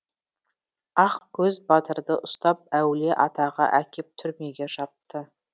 ақкөз батырды ұстап әулие атаға әкеп түрмеге жапты